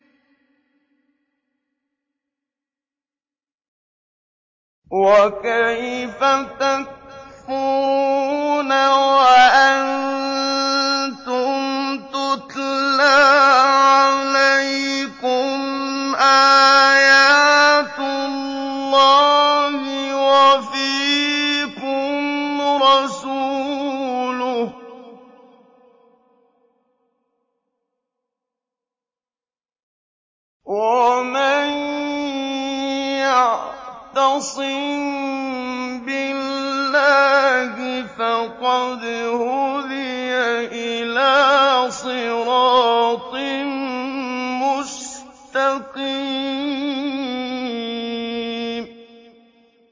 وَكَيْفَ تَكْفُرُونَ وَأَنتُمْ تُتْلَىٰ عَلَيْكُمْ آيَاتُ اللَّهِ وَفِيكُمْ رَسُولُهُ ۗ وَمَن يَعْتَصِم بِاللَّهِ فَقَدْ هُدِيَ إِلَىٰ صِرَاطٍ مُّسْتَقِيمٍ